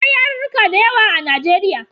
Akwai yarurruka da yawa a Najeriya.